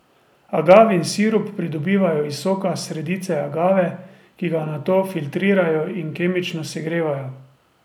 Agavin sirup pridobivajo iz soka sredice agave, ki ga nato filtrirajo in kemično segrevajo.